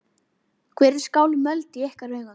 Hvað er skálmöld í ykkar augum?